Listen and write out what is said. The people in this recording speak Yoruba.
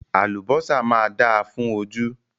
Àlùbọ́sà máa dáa fún ojú.